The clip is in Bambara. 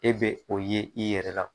E be o ye, i yɛrɛ la